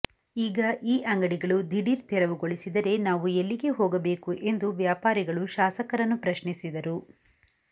ಈಗ ಈ ಅಂಗಡಿಗಳು ದಿಢೀರ್ ತೆರವುಗೊಳಿಸಿದರೆ ನಾವು ಎಲ್ಲಿಗೆ ಹೋಗಬೇಕು ಎಂದು ವ್ಯಾಪಾರಿಗಳು ಶಾಸಕರನ್ನು ಪ್ರಶ್ನಿಸಿದರು